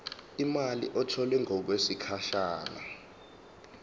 imali etholwe ngokwesigatshana